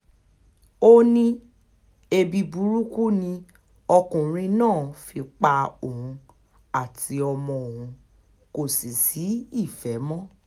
ó ní ẹbí burúkú ni ọkùnrin náà fi ń pa òun àti ọmọ òun kò sì sí ìfẹ́ mọ́